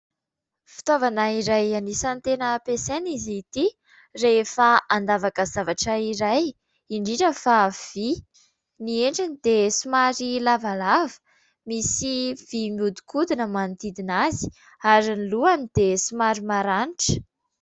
Fitaovana iray anisan'ny tena ampiasaina izy ity rehefa andavaka zavatra iray indrindra fa vy, ny endriny dia somary lavalava misy vy mihodikodina manodidina azy ary ny lohany dia somary maranitra.